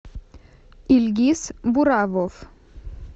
ильгиз буравов